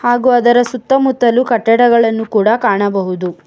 ಹಾಗೂ ಅದರ ಸುತ್ತಮುತ್ತಲು ಕಟ್ಟಡಗಳನ್ನು ಕೂಡ ಕಾಣಬಹುದು.